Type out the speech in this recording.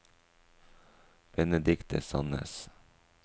Benedikte Sannes